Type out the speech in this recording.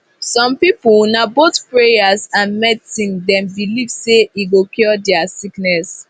some people na both prayers and medicine them believe say e go cure there sickness